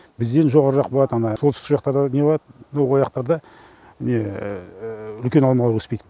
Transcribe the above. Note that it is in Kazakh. бізден жоғары жақ болады анда солтүстік жақтарда не болады ояқтарда үлкен алмалар өспейді